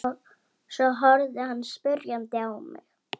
Svo horfði hann spyrjandi á mig.